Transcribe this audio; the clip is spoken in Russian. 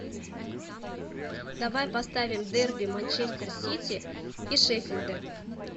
давай поставим дерби манчестер сити и шеффилда